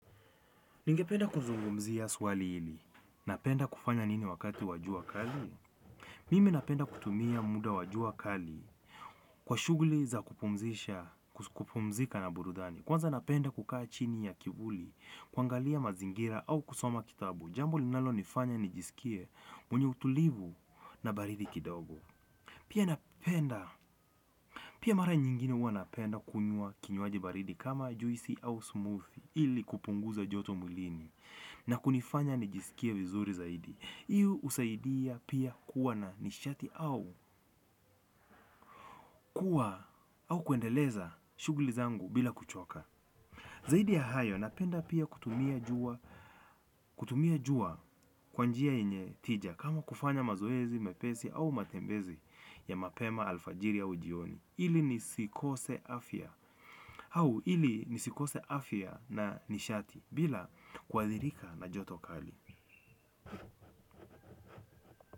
Ningependa kuzungumzia swali hili. Napenda kufanya nini wakati wa jua kali? Mimi napenda kutumia muda wajua kali kwa shuguli za kupumzisha, kupumzika na burudani. Kwanza napenda kukaa chini ya kivuli, kwangalia mazingira au kusoma kitabu. Jambo linalo nifanya nijiskie mwenye utulivu na baridi kidogo. Pia napenda. Pia mara nyingine huwa napenda kunywa kinywaji baridi kama juisi au smoothie ili kupunguza joto mwilini. Na kunifanya nijiskie vizuri zaidi. Hii usaidia pia kuwa na nishati au kuwa au kuendeleza shuguli zangu bila kuchoka. Zaidi ya hayo napenda pia kutumia jua kwa njia yenye tija kama kufanya mazoezi mepesi au matembezi ya mapema alfajiri au jioni. Ili nisikose afia na nishati bila kuathirika na joto kali.